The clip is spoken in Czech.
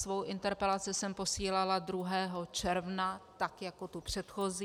Svou interpelaci jsem posílala 2. června, tak jako tu předchozí.